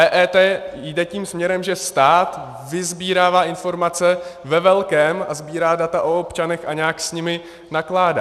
EET jde tím směrem, že stát vysbírává informace ve velkém a sbírá data o občanech a nějak s nimi nakládá.